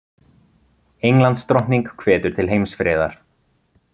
Englandsdrottning hvetur til heimsfriðar